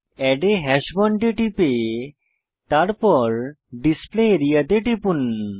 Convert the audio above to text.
add a hash bond এ টিপে তারপর ডিসপ্লে আরিয়া তে টিপুন